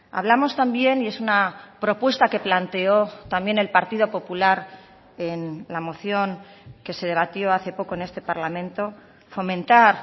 hablamos también y es una propuesta que planteó también el partido popular en la moción que se debatió hace poco en este parlamento fomentar